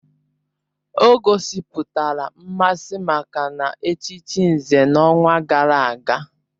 O gosipụtara mmasị maka na-echichi Nze n'ọnwa gara aga